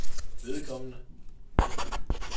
vedkommende